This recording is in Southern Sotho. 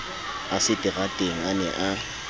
a seterateng a ne a